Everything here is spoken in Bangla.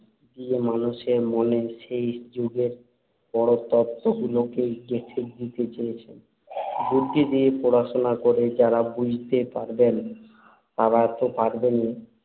দিয়ে মানুষের মনে সেই যুগের বড় তত্ত্বগুলোকেই গেঁথে দিতে চেয়েছেন। বুদ্ধি দিয়ে পড়াশুনা করে যাঁরা বুঝতে পারবেন, তাঁরা তো পারবেনই